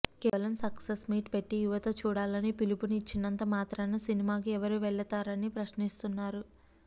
కేవలం success meet పెట్టి యువత చూడాలని పిలుపుని ఇచ్చినంత మాత్రాన సినిమాకు ఎవ్వరు వెళ్లతారని ప్రశ్నిస్తున్నారు